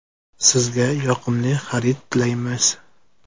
Sizga yoqimli xarid tilaymiz!